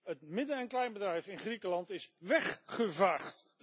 Het midden en kleinbedrijf in Griekenland is weggevaagd.